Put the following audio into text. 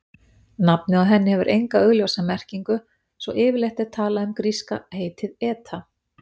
Nafnið á henni hefur enga augljósa merkingu svo yfirleitt er talað um gríska heitið eta.